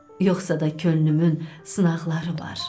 Yoxsa da könlümün sınaqları var.